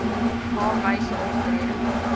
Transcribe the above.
h wyse optree